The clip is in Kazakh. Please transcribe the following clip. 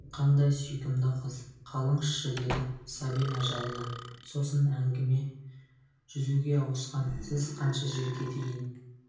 қандай сүйкімді қыз қалыңызшы деді сабина жалына сосын әңгіме жүзуге ауысқан сіз қанша жерге дейін